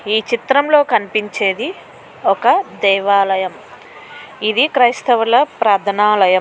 ఈ చిత్రంలో కనిపిస్తున్నది ఒక దేవాలయము. ఇది క్రైస్తవుల ప్రార్థనాలయం.